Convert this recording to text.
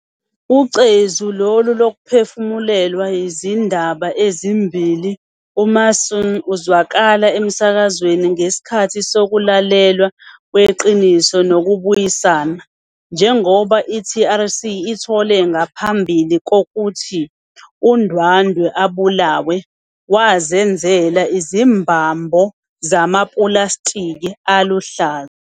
Ucezu lolu luphefumulelwe yizindaba ezimbili uMason azwakala emsakazweni ngesikhathi sokulalelwa kweQiniso nokubuyisana. Njengoba i-TRC ithole, ngaphambi kokuthi uNdwandwe abulawe, "wazenzela izimbhambho zamapulasitiki aluhlaza."